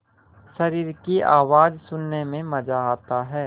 शरीर की आवाज़ सुनने में मज़ा आता है